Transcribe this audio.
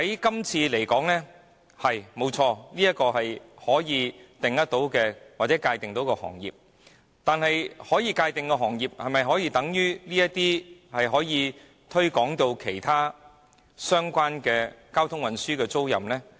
就這《條例草案》而言，飛機租賃確是可被界定的行業，但是，可被界定行業的範圍可會擴大至涵蓋其他相關的交通運輸租賃行業呢？